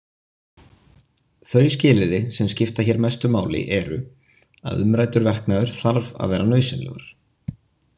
Þau skilyrði sem skipta hér mestu máli eru: að umræddur verknaður þarf að vera nauðsynlegur.